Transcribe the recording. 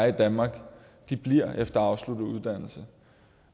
i danmark bliver her efter afsluttet uddannelse